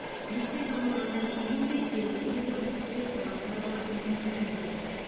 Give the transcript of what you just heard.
екпе салынғаннан кейін де келісімде көрсетілген талаптар бар дейді министр